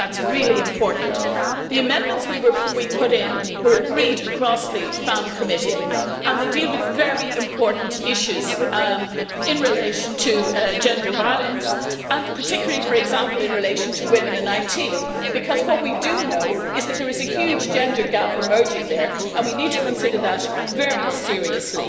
I think that's really important. The amendments we put in were agreed across the FEMM Committee, and they deal with very important issues in relation to gender violence and particularly, for example, in relation to women in IT, because what we do know is that there is a huge gender gap emerging there, and we need to consider that very seriously.